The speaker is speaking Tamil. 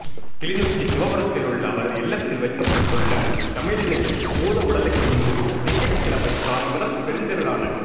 கிளிநொச்சி சிவபுரத்தில் உள்ள அவரது இல்லத்தில் வைக்கப்பட்டுள்ள தமிழினியின் பூதவுடலுக்கு இன்று திங்கட்கிழமை காலை முதல் பெருந்திரளான